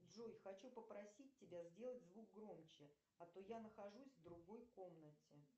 джой хочу попросить тебя сделать звук громче а то я нахожусь в другой комнате